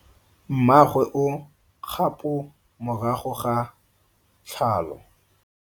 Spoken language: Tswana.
Mmagwe o kgapo morago ga tlhalo.